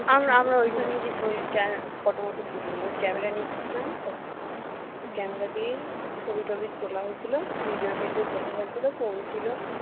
আমরা আমরাও ওখানে গিয়ে ওই photo মটো তুলিনি camera নিয়ে গেছিলাম তো camera দিয়ে ছবি-টবি তোলা হয়েছিল video টিডিও তোলা হয়েছিল phone ছিল